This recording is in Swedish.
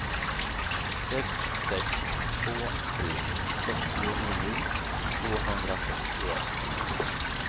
sex sex två tre sjuttionio tvåhundratrettioett